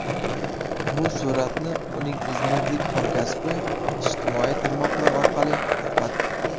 Bu suratni uning izmirlik hamkasbi ijtimoiy tarmoqlar orqali tarqatdi.